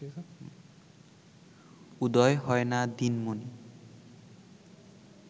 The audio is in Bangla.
উদয় হয় না দিনমণি